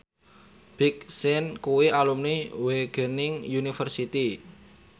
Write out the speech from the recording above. Big Sean kuwi alumni Wageningen University